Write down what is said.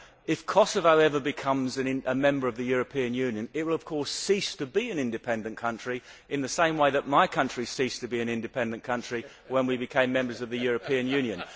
If Kosovo ever becomes a member of the European Union, it will of course cease to be an independent country, in the same way that my country ceased to be an independent country when we became members of the European Union.